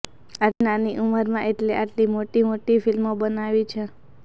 આટલી નાની ઉંમરમાં એમણે આટલી મોટી મોટી ફિલ્મો બનાવી છે